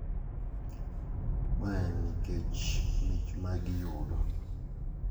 Ma en nikech mich ma giyudo.